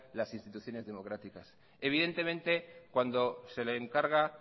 las instituciones democráticas evidentemente cuando se le encarga